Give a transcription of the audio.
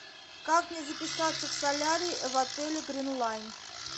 как мне записаться в солярий в отеле грин лайн